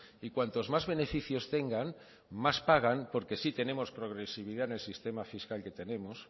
y cuantos más beneficios tengan más pagan porque sí tenemos progresividad en el sistema fiscal que tenemos